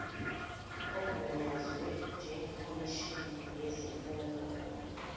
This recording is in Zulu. ogunyazwe njengekhomishina yezifungo